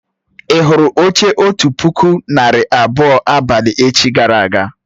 Ì hụrụ oche otu puku narị abụọ abalị echi gara aga?